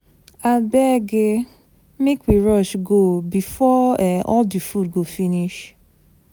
Abeg um make we rush go before um all the food go finish.